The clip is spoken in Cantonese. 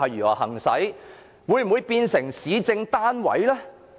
我們會否變成市政單位呢？